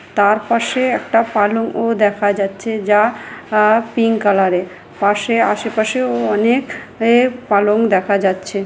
তার পাশে একটা পালঙ ও দেখা যাচ্ছে যা যা পিংক কালারের পাশে আশেপাশেও অনেক এক পালং দেখা যাচ্ছে।